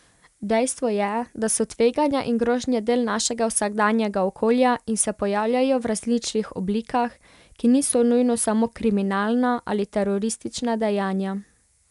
Dejstvo je, da so tveganja in grožnje del našega vsakdanjega okolja in se pojavljajo v različnih oblikah, ki niso nujno samo kriminalna ali teroristična dejanja.